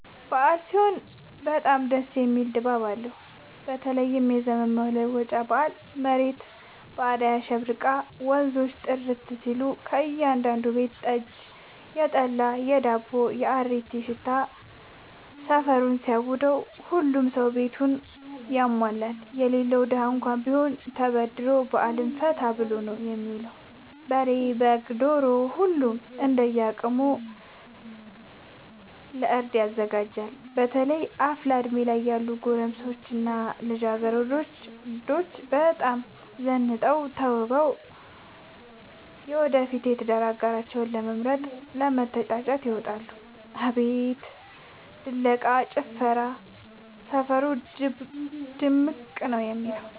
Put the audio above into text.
አበዓል ሲሆን በጣም ደስ የሚል ድባብ አለው በተለይም የዘመን መለወጫ በአል መሬት በአዳይ አሸብርቃ ወንዞቹ ጥርት ሲሉ ከእያዳዱ ቤት የጠጅ፣ የጠላ የዳቦው።፣ የአሪቲው ሽታ ሰፈሩን ሲያውደው። ሁሉም ሰው ቤቱን ያሟላል የሌለው ደሀ እንኳን ቢሆን ተበድሮ በአልን ፈታ ብሎ ነው የሚውለው። በሬ፣ በግ፣ ዶሮ ሁሉም እንደየ አቅሙ ለእርድ ያዘጋጃል። በተለይ አፍላ እድሜ ላይ ያሉ ጎረምሶች እና ልጃገረዶች በጣም ዘንጠው ተውበው የወደፊት የትዳር አጋራቸውን ለመምረጥ ለመተጫጨት ይወጣሉ። አቤት ድለቃ፣ ጭፈራው ሰፈሩ ድምቅምቅ ነው የሚለው።